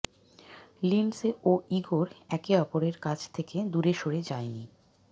Lindsay ও Igor একে অপরের কাছ থেকে দূরে সরে যায়নি